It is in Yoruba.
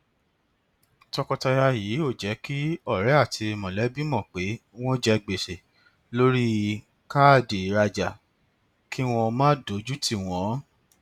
tọkọtaya yìí ò jẹ kí ọrẹ àti mọlẹbí mọ pé wọn jẹ gbèsè lórí káàdì ìrajà kí wọn má dójú tì wọn